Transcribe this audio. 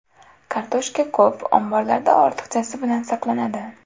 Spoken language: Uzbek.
Kartoshka ko‘p, omborlarda ortiqchasi bilan saqlanadi.